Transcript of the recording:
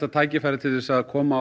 tækifæri til að koma